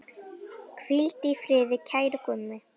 Hvíldu í friði, kæri Gummi.